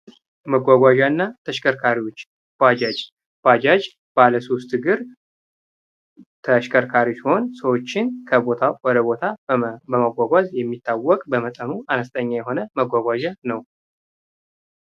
መጓጓዣና ተሽከርካሪዎች ባጃጅ ባለሶስት እግር ተሽከርካሪ ሲሆን ሰዎችን ከቦታ ወደ ቦታ በማጓጓዝ የሚታወቅ በመጠኑ አነስተኛ የሆነ መጓጓዣ ነው።